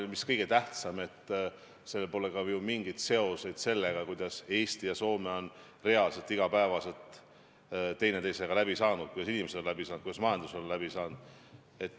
Aga mis kõige tähtsam, seal polnud ju ka mingeid seoseid sellega, kuidas Eesti ja Soome on reaalselt iga päev teineteisega läbi saanud, kuidas inimesed on läbi saanud, kuidas majandused on läbi saanud.